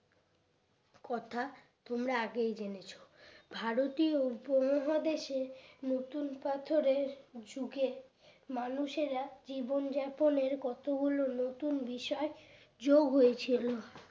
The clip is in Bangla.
কথা তোমরা আগেই জেনেছো ভারতীয় উপমহাদেশে নতুন পাথরের যুগের মানুষেরা জীবন যাপনের কতগুলো নতুন বিষয় যোগ হয়েছিল